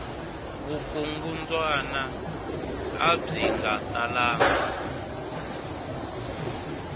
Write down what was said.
vukungundwana abyi nga talanga